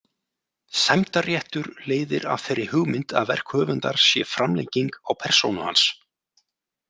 Sæmdarréttur leiðir af þeirri hugmynd að verk höfundar sé framlenging á persónu hans.